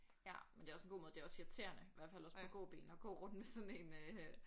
Ja men det er også en god måde det er også irriterende i hvert fald også på gåben at gå rundt med en sådan en øh